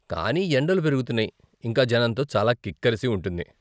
కానీ ఎండలు పెరుగుతున్నాయి, ఇంకా జనంతో చాలా కిక్కరసి ఉంటుంది.